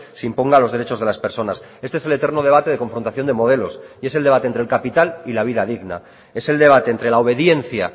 se imponga los derechos de las personas este es el eterno debate de confrontación de modelos y es el debate entre el capital y la vida digna es el debate entre la obediencia